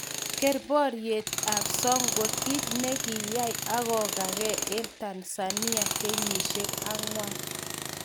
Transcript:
Ker porietb ap sokwe kit ne ki yai ago gage en tanzania kenyishiek 4.